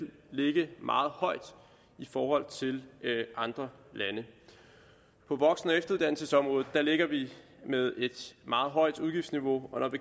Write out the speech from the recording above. ligge meget højt i forhold til andre lande på voksen og efteruddannelsesområdet ligger vi med et meget højt udgiftsniveau og